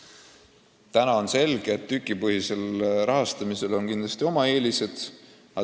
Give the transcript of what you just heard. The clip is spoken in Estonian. On selge, et sellisel nn tükipõhisel rahastamisel on kindlasti oma eelised.